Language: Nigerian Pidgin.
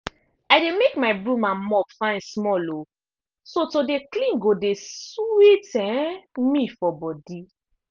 i dey make my broom and mop fine small um so to dey clean go dey sweet um me for body.